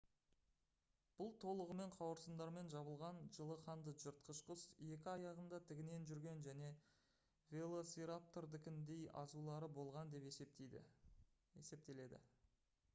бұл толығымен қауырсындармен жабылған жылы қанды жыртқыш құс екі аяғында тігінен жүрген және велоцираптордыкіндей азулары болған деп есептеледі